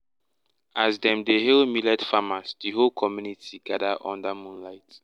as dem dey hail millet farmers the whole community gather under moonlight.